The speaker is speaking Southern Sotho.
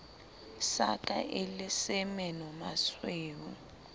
sa ka e le semenomasweu